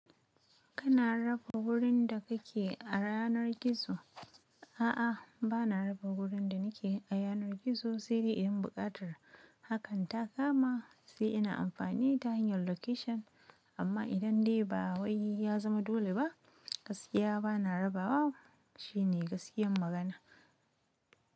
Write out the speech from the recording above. Kana raba wurin da kake a yanar gizo? A'a, ba na raba wurin da nake a yanar gizo, sai dai in buƙatar hakan ta kama sai ina amfani ta hanyar location. Amma idan dai ba wai ya zama dole ba, gaskiya ba na raba wa. Shine gaskiyar magana.